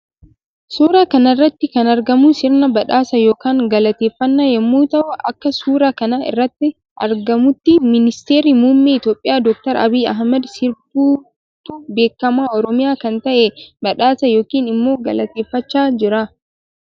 Suura kanarratti kan argamu sirna badhaasaa yookan galateeffanna yommuu ta'uu Akka suura kana irratti argamutyi ministeerri mummee itoophiya dooktari abiy ahimed sirbituu beekama oromiyaa kan ta'een badhaasaa yookiin immo galateeffachaa Jira.